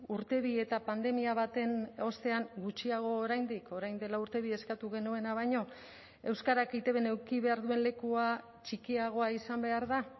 urte bi eta pandemia baten ostean gutxiago oraindik orain dela urte bi eskatu genuena baino euskarak eitbn eduki behar duen lekua txikiagoa izan behar da